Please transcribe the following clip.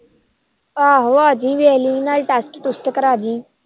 ਆਹੋ ਆਜੀ ਵੇਖ ਲੀ ਨਾਲੇ test trust ਕਰਾਜੀ